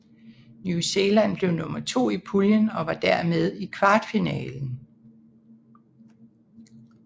New Zealand blev nummer to i puljen og var dermed i kvartfinalen